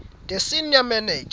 the senior manager